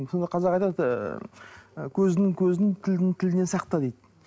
сонда қазақ айтады ы көздінің көзін тілдінің тілінен сақта дейді